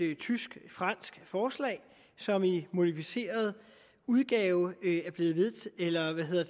tysk fransk forslag som i en modificeret udgave